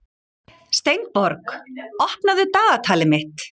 Steinborg, opnaðu dagatalið mitt.